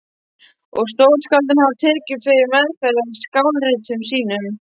og stórskáldin hafa tekið þau til meðferðar í skáldritum sínum.